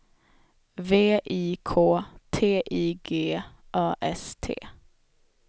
V I K T I G A S T